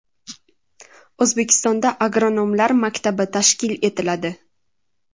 O‘zbekistonda agronomlar maktabi tashkil etiladi.